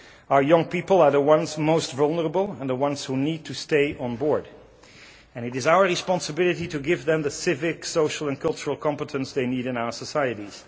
Our young people are the ones most vulnerable and the ones who need to stay on board and it is our responsibility to give them the civic, social and cultural competence they need in our societies.